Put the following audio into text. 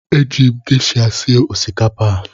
Eji m gesha sie osikapa a.